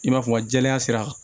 I n'a fɔ wa jɛlenya sira kan